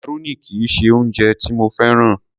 Macaroni kì í ṣe oúnjẹ tí mo féràn.